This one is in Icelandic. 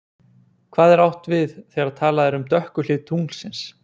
Hvað er átt við þegar talað er um dökku hlið tunglsins?